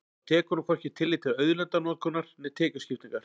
Þá tekur hún hvorki tillit til auðlindanotkunar né tekjuskiptingar.